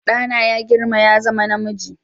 Ɗana yana girma ya zama namiji.